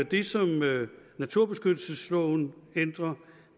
det som naturbeskyttelsesloven ændrer